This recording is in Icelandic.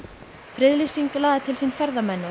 friðlýsing laði til sín ferðamenn